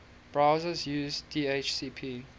browsers use dhcp